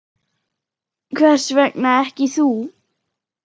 Hvers vegna ekki þú?